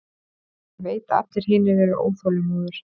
Ég veit að allir hinir eru óþolinmóðir.